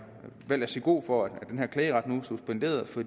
valgt at sige god for at den her klageret nu er suspenderet for